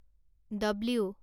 W